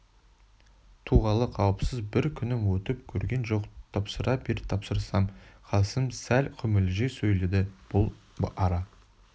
туғалы қауіпсіз бір күнім өтіп көрген жоқ тапсыра бер тапсырсам қасым сәл күмілжи сөйледі бұл ара